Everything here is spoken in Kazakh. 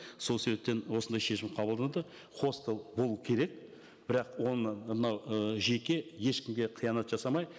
сол себептен осындай шешім қабылданды хостел болу керек бірақ оны мынау ы жеке ешкімге қиянат жасамай